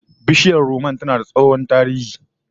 Bishiyar rumman tana da tsohon tarihi